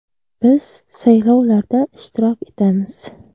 Biz saylovlarda ishtirok etamiz.